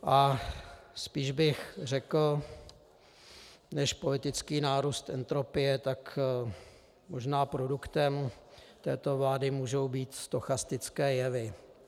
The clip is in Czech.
A spíš bych řekl než politický nárůst entropie, tak možná produktem této vlády můžou být stochastické jevy.